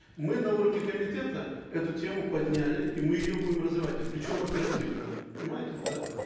мы на уровне комитета эту тему подняли и мы ее будем развивать и причем оперативно понимаете да